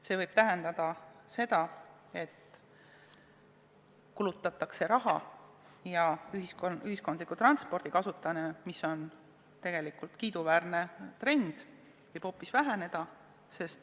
See võib tähendada seda, et kulutatakse raha, aga ühiskondliku transpordi kasutamine, mis on tegelikult kiiduväärne trend, võib hoopis väheneda.